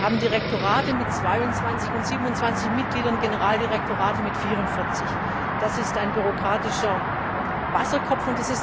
Wir haben Direktorate mit 22 und 27 Mitgliedern, Generaldirektorate mit 44. Das ist ein bürokratischer Wasserkopf.